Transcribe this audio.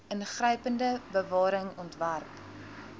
ingrypende bewaring ontwerp